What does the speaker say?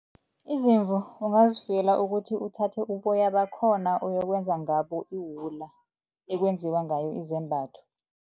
Izimvu ungazifuyela ukuthi uthathe uboya bakhona kuyokwenza ngabo iwula ekwenziwa ngayo izembatho.